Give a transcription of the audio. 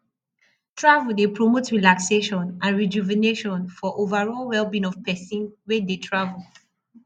travel dey promote relaxation and rejuvenation for overall wellbeing of pesin wey dey travel